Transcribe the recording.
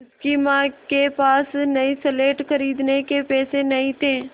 उसकी माँ के पास नई स्लेट खरीदने के पैसे नहीं थे